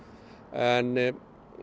en